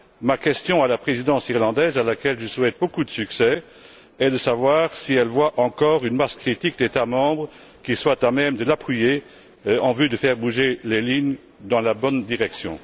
Ma question à la Présidence irlandaise, à laquelle je souhaite beaucoup de succès, est de savoir si elle voit encore une masse critique d'États membres qui soient à même de l'appuyer en vue de faire bouger les choses dans la bonne direction.